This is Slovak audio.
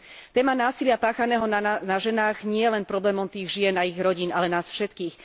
Téma násilia páchaného na ženách je nielen problémom tých žien a ich rodín, ale nás všetkých.